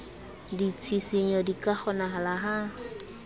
ditshisinyo di ka kgonahala ha